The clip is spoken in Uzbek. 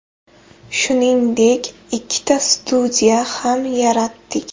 Shuningdek, ikkita studiya ham yaratdik.